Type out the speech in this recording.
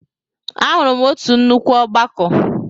Ahụrụ m otu nnukwu ọgbakọ.